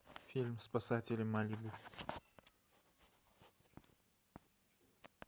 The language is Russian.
фильм спасатели малибу